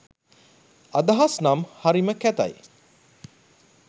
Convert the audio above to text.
අදහස් නම් හරිම කැතැයි.